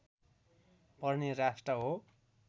पर्ने राष्ट्र हो